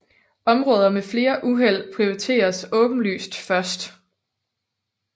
Områder med flere uheld prioriteres åbenlyst først